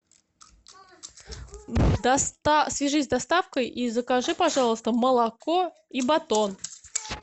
свяжись с доставкой и закажи пожалуйста молоко и батон